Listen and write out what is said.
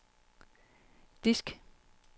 disk